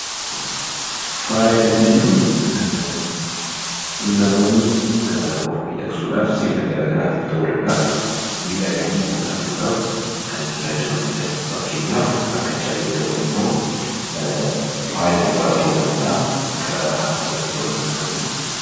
Faaya kan jennuun namoonni of miidhagsuudhaaf sirna garagaraatiif ta'uu danda'a miidhaganaii ittiin mul'achuudhaf kan itti gargaarramanidha. Fakkeenyaaf faaya gurraa kan yookiin kan harkaa ta'uu danda'a.